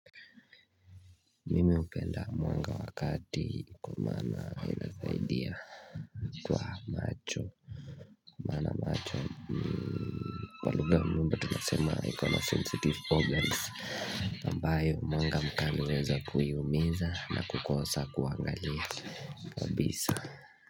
Mimi upenda mwanga wakati kuoana inasaidia Kwa macho maana macho kwa lugha mnumba tunasema ikona sensitive organs nambayo mwanga mkali huweza kuiumiza na kukosa kuangalia kabisa.